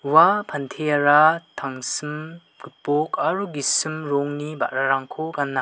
ua panteara tangsim gipok aro gisim rongni ba·rarangko gana.